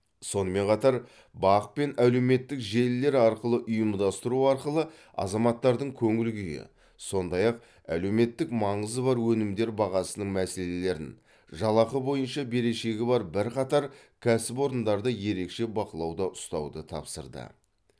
сонымен қатар бақ пен әлеуметтік желілер арқылы ұйымдастыру арқылы азаматтардың көңіл күйі сондай ақ әлеуметтік маңызы бар өнімдер бағасының мәселелерін жалақы бойынша берешегі бар бірқатар кәсіпорындарды ерекше бақылауда ұстауды тапсырды